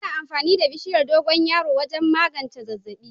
Ana amfani da bishiyar dogoyaro wajen magance zazzabi.